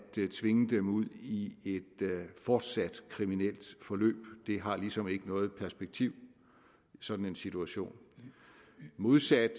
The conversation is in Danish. tvinge dem ud i et fortsat kriminelt forløb det har ligesom ikke noget perspektiv sådan en situation modsat